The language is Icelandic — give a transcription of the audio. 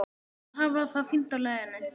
Þær hafa það fínt á leiðinni.